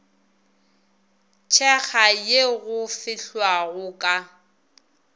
tshekga ye go fehlwago ka